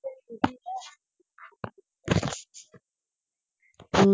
ਹਮ